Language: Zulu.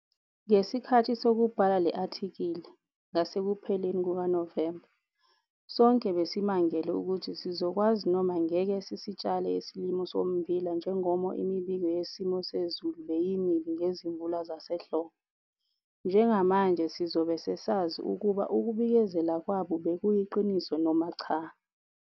Ngesikhathi sokubhala le athikili, ngasekupheleni kukaNovemba, sonke besimangele ukuthi sizokwazi noma ngeke sisitshale isilimo sommbila njengomo imibiko yesimo sezulu beyimibi ngezimvula zasehlobo. Njengamanje sizobe sesazi ukuba ukubikezela kwabo bekuyiqiniso noma cha?